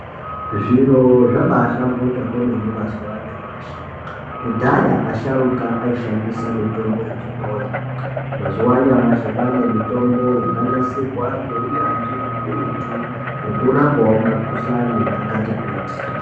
Zviro zvabaahlamburika kwemene mazuwa anyamashi, kudhaya asharuka aishandisa mitombo yechibhoyi. Mazuwa anyamashi kwaane mitombo yakanasirwa ngeunyanzvi ukurutu nekurapawo makhuhlani akati kuti.